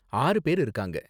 ஆறு பேரு இருக்காங்க.